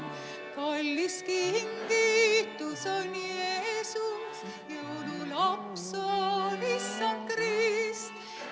Kallis kingitus on Jeesus, jõululaps on Issand Krist.